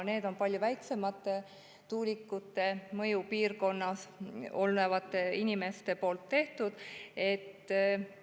Need on palju väiksemate tuulikute mõjupiirkonnas elavate inimeste.